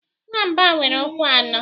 Nwamba nwere ụkwụ anọ.